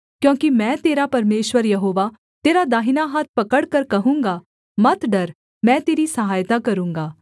क्योंकि मैं तेरा परमेश्वर यहोवा तेरा दाहिना हाथ पकड़कर कहूँगा मत डर मैं तेरी सहायता करूँगा